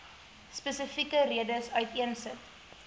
spesifieke redes uiteensit